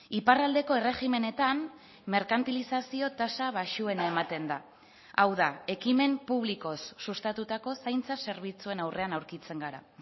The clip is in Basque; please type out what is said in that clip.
iparraldeko erregimenetan merkantilizazio tasa baxuena ematen da hau da ekimen publikoz sustatutako zaintza zerbitzuen aurrean aurkitzen gara